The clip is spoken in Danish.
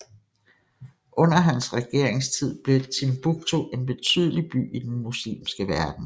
Under hans regeringstid blev Timbuktu en betydelig by i den muslimske verden